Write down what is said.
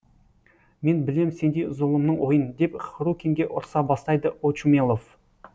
мен білем сендей зұлымның ойын деп хрукинге ұрса бастайды очумелов